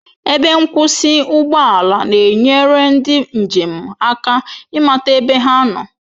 Ebe nkwụsị ụgbọ ala na-enyere ndị njem aka ịmata ebe ha nọ